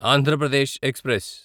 Andhra Pradesh express